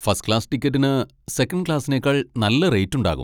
First class ടിക്കറ്റിന് second ക്ലാസ്സിനേക്കാൾ നല്ല റേറ്റ് ഉണ്ടാകും.